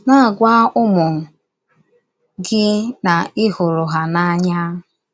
Na - agwa ụmụ gị na ị hụrụ ha n’anya.